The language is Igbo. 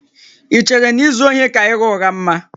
Ì chere na izu ohi ka ịgha ụgha mma?